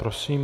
Prosím.